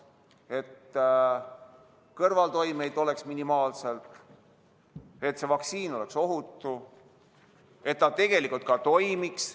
Et kõrvaltoimeid oleks minimaalselt, et vaktsiin oleks ohutu ja et ta ka tegelikult toimiks.